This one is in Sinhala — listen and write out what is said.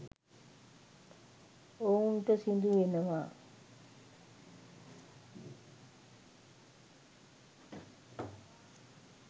ඔවුන්ට සිදුවෙනවා